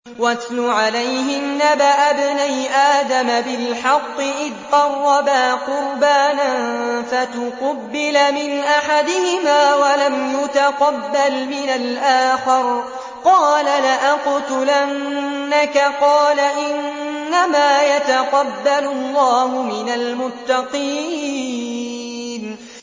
۞ وَاتْلُ عَلَيْهِمْ نَبَأَ ابْنَيْ آدَمَ بِالْحَقِّ إِذْ قَرَّبَا قُرْبَانًا فَتُقُبِّلَ مِنْ أَحَدِهِمَا وَلَمْ يُتَقَبَّلْ مِنَ الْآخَرِ قَالَ لَأَقْتُلَنَّكَ ۖ قَالَ إِنَّمَا يَتَقَبَّلُ اللَّهُ مِنَ الْمُتَّقِينَ